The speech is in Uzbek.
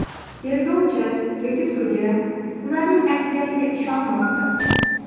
Tergovchi yoki sudya ularning aytganiga ishonmoqda.